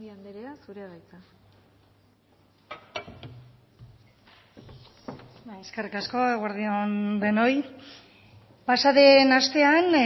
anderea zurea da hitza bai eskerrik asko eguerdi on denoi pasaden astean